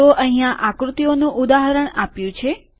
તો અહીંયા આકૃતિઓનું ઉદાહરણ આપ્યું છે